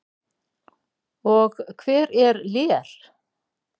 Og hver er Lér?